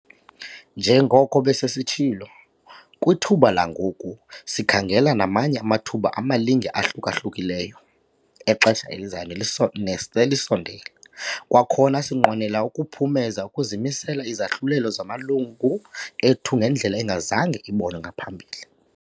Njengoko besesitshilo, kwithuba langoku, sikhangela namanye amathuba amalinge ahluka-hlukileyo exesha elizayo neselisondele. Kwakhona sinqwenela ukuphumeza ukumisela izahlulelo zamalungu ethu ngendlela engazange ibonwe ngaphambili.